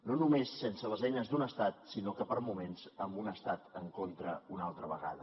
no només sense les eines d’un estat sinó que per moments amb un estat en contra una altra vegada